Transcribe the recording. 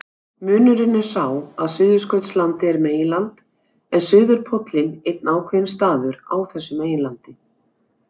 Munurinn er sá að Suðurskautslandið er meginland en suðurpóllinn einn ákveðinn staður á þessu meginlandi.